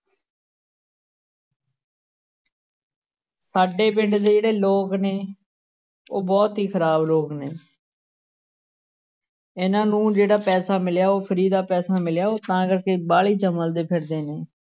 ਸਾਡੇ ਪਿੰਡ ਦੇ ਜਿਹੜੇ ਲੋਕ ਨੇ ਉਹ ਬਹੁਤ ਹੀ ਖ਼ਰਾਬ ਲੋਕ ਨੇ ਇਹਨਾਂ ਨੂੰ ਜਿਹੜਾ ਪੈਸਿਆ ਮਿਲਿਆ ਉਹ free ਦਾ ਪੈਸਾ ਮਿਲਿਆ ਉਹ ਤਾਂ ਕਰਕੇ ਬਾਹਲੇ ਚਮਲਦੇ ਫ਼ਿਰਦੇ ਨੇ।